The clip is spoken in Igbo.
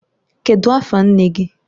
Kedu afa nne gi?